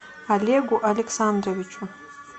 олегу александровичу